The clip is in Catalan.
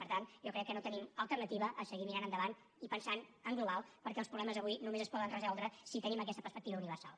per tant jo crec que no tenim alternativa a seguir mirant endavant i pensant en global perquè els problemes avui només es poden resoldre si tenim aquesta perspectiva universal